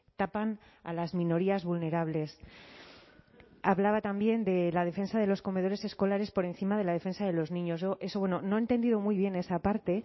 tapan a las minorías vulnerables hablaba también de la defensa de los comedores escolares por encima de la defensa de los niños yo eso bueno no he entendido muy bien esa parte